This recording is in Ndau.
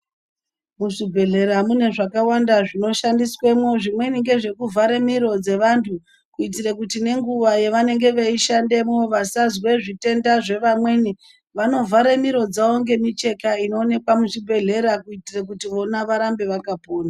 Muzvibhehlera mune zvakawanda zvinoshandiswemwo zvimweni ngezvekuvhare miro dzevantu kuitire kuti nenguwa dzavanenge veishandemo vasazwe zvitenda zvevamweni vanorvhare miro dzavo ngemicheka inoonekwa muzvibhehlera kuti vona varambe vakapona.